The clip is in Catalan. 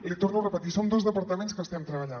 l’hi torno a repetir som dos departaments que hi estem treballant